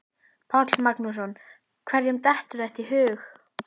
Páll Magnússon: Hverjum dettur þetta í hug?